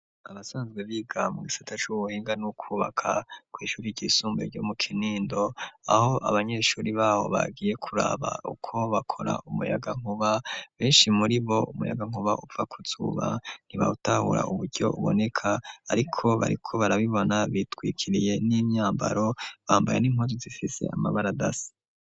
Abasanzwe biga mu gisata c'uwenga n'ukwubaka kw'ishuri ryisumbue ryo mu kinindo aho abanyeshuri babo bagiye kuraba uko bakora umuyaga nkuba benshi muri bo umuyaga nkuba upfa kuzuba ntibawutahura uburyo uboneka, ariko bariko barabibona bitwikiriye n'imyambaro bambae ninkwaju zifise amabara dasi.